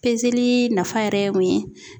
nafa yɛrɛ ye mun ye?